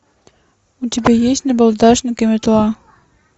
у тебя есть набалдашник и метла